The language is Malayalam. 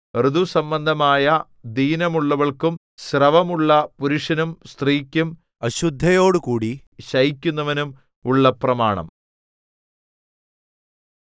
ഋതുസംബന്ധമായ ദീനമുള്ളവൾക്കും സ്രവമുള്ള പുരുഷനും സ്ത്രീക്കും അശുദ്ധയോടുകൂടി ശയിക്കുന്നവനും ഉള്ള പ്രമാണം